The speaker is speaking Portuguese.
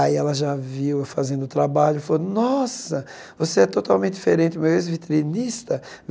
Aí ela já viu eu fazendo o trabalho e falou, nossa, você é totalmente diferente do meu ex-vitrinista.